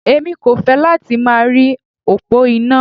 Èmi kò fẹ́ láti máa rí òpó iná.